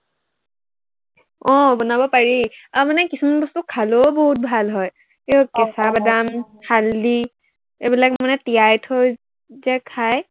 আহ বনাব পাৰি, আৰু মানে কিছুমান বস্তু খালেও বহুত ভাল হয়। এৰ কেঁচা বাদাম, হালধি এইবিলাক মানে তিয়াই থৈ যে খাই